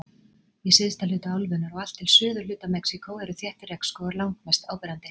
Í syðsta hluta álfunnar og allt til suðurhluta Mexíkó eru þéttir regnskógar langmest áberandi.